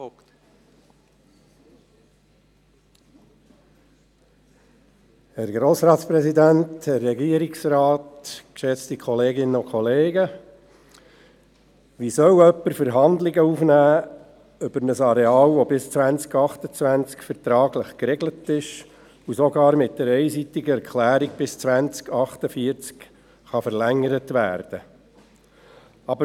Wie soll jemand betreffend ein Areal, Verhandlungen aufnehmen, dessen Nutzung bis 2028 vertraglich geregelt ist und die sogar mit einer einseitigen Erklärung bis 2048 verlängert werden kann?